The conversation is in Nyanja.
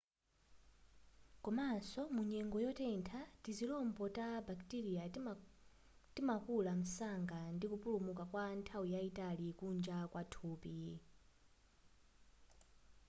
komanso mu nyengo yotentha tizilombo ta bakiteriya timakula msanga ndi kupulumuka kwa nthawi yayitali kunja kwa thupi